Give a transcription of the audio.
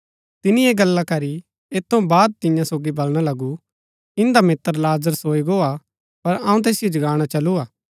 तिनी ऐह गला करी अतै ऐत थऊँ बाद तियां सोगी बलणा लगु इन्दा मित्र लाजर सोई गो हा पर अऊँ तैसिओ जगाणा चलु हा